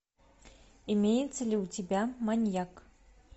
имеется ли у тебя маньяк